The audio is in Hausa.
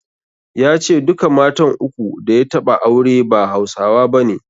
Ya ce duka matan uku da ya taɓa aure ba Hausawa bane.